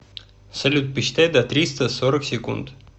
салют посчитай до триста сорок секунд